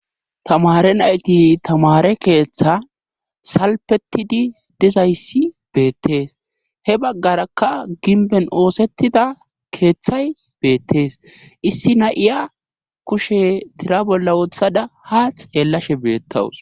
tamare nayti tamare keeththa salpetidi dizayssi beettees he baggarakka ginben oosettida keeththay beettees issi na7iya kushe tira bolla wothada ha xeellashe beettawus